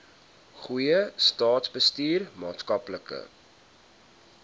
goeie staatsbestuur maatskaplike